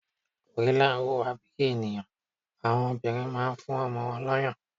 Gorillas huwa bi eniyan, awọn obinrin ma n fún ọmọ won ni oyon